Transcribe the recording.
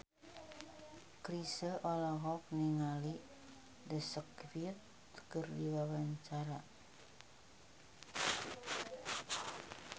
Chrisye olohok ningali The Script keur diwawancara